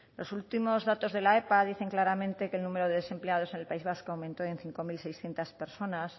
los últimos datos de la epa dicen claramente que el número de desempleados en el país vasco aumentó en cinco mil seiscientos personas